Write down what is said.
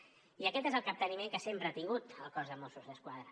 i aquest és el capteniment que sempre ha tingut el cos de mossos d’esquadra